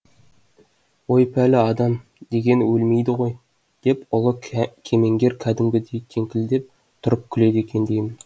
өй пәлі адам деген өлмейді ғой деп ұлы кемеңгер кәдімгідей кеңкілдеп тұрып күледі екен деймін